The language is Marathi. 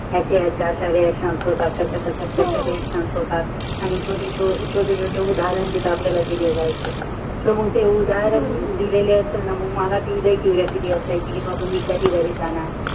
त्याचा संतत त्याचा त्याचा छोटे छोटे उदारण तिथ आपल्याला दिले जातात कि मंग ते उदारण दिलेले असेल न कि मला लइ क्युरिओसिटि असायचि कि बाबा मी कधी घरी जाणार